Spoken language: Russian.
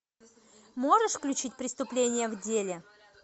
можешь включить преступление в деле